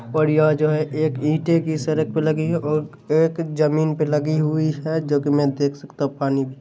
बढ़िया जो है एक इंटे की सरक पे लगी हुई और एक जमीन पे लगी हुई है जो की मै देख सकता हूँ पानी भी--